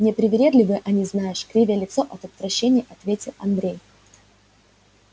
непривередливые они знаешь кривя лицо от отвращения ответил андрей